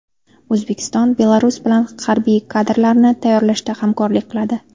O‘zbekiston Belarus bilan harbiy kadrlarni tayyorlashda hamkorlik qiladi.